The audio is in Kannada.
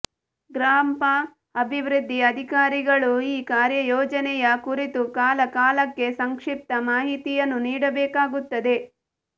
ಗ್ರಾಪಂ ಅಭಿವೃದ್ಧಿ ಅಧಿಕಾರಿಗಳು ಈ ಕಾರ್ಯಯೋಜನೆಯ ಕುರಿತು ಕಾಲ ಕಾಲಕ್ಕೆ ಸಂಕ್ಷಿಪ್ತ ಮಾಹಿತಿಯನ್ನು ನೀಡಬೇಕಾಗುತ್ತದೆ